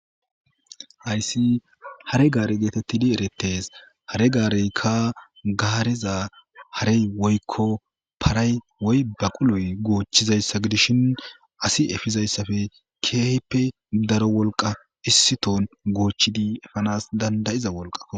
hayssi hare gaare geetettidi erettes hare gaareykka gaareza harey woykko paray woy baquloy goochchizayssa gidishin asi efizayssafe keehppe daro wolqa issiton goochchidi efanas dandayiza wolqa